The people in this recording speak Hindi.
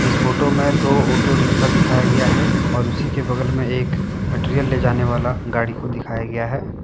इस फोटो में दो ऑटो रिक्शा दिखाया गया है और उसी के बगल में एक मटेरियल ले जाने वाला गाड़ी को दिखाया गया है।